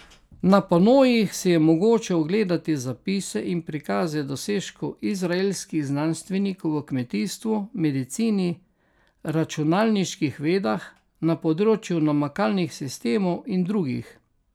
Na panojih si je mogoče ogledati zapise in prikaze dosežkov izraelskih znanstvenikov v kmetijstvu, medicini, računalniških vedah, na področju namakalnih sistemov in drugih.